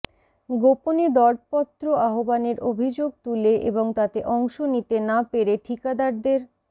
গোপনে দরপত্র আহ্বানের অভিযোগ তুলে এবং তাতে অংশ নিতে না পেরে ঠিকাদারদের